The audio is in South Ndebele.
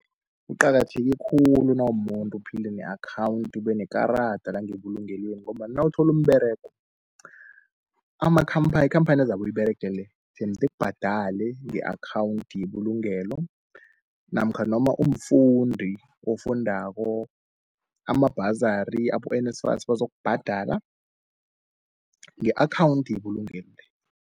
Kuqakatheke khulu nawumuntu uphile ne-akhawunti ubenekarada langebulungelweni, ngombana nawutholu umberego. Ikhamphani ezabu uyiberega le, emoet ikubhadale nge-akhawunthi yebulugelo, namkha noma umfundi ofundako amabhazari abe-N_S_F_A_S bazokubhadala nge-akhawundi yebulugelo.